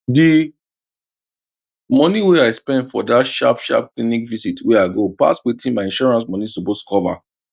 d moni wey i spend for that sharp sharp clinic visit wey i go pass wetin my insurance moni suppose cover